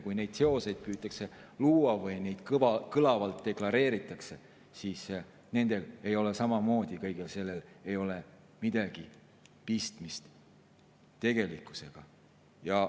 Kui neid seoseid püütakse luua või neid kõlavalt deklareeritakse, siis kõigel sellel ei ole midagi pistmist tegelikkusega.